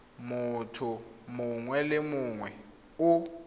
motho mongwe le mongwe o